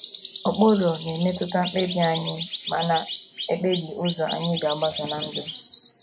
Ụkpụrụ na - emetụta mkpebi anyị ma na - ekpebi ụzọ anyị ga - agbaso ná ndụ.